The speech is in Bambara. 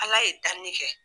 Ala ye danni kɛ.